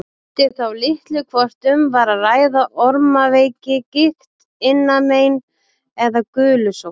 Skipti þá litlu hvort um var að ræða ormaveiki, gigt, innanmein eða gulusótt.